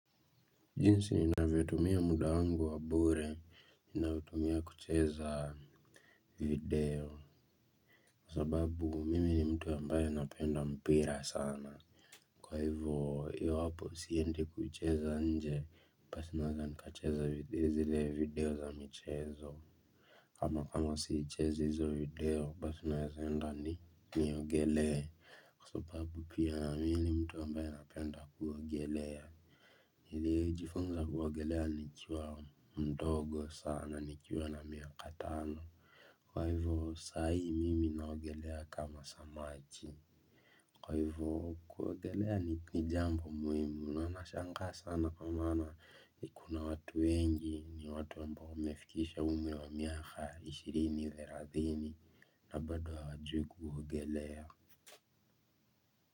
Jinsi ninavyotumia muda wangu wa bure, nautumia kucheza. Video, kwa sababu mimi ni mtu ambaye napenda mpira sana. Kwa hivyo hapo siendi kucheza nje, basi nacheza zile video za michezo. Kama siichezi hizo video, basi naweza enda niogelee, kwa sababu pia mimi ni mtu ambaye anapenda kuogelea. Nilijifunza kuogelea nikiwa mdogo sana, nikiwa na miaka mitano. Kwa hivyo saa hii mimi naogelea kama samaki. Kwa hivyo kuogelea ni jambo muhimu na nashangaa sana kama kuna watu wengi ni watu ambao wamefikisha umri wa miaka ishirini, thelathini. Na bado hawajui kuogelea.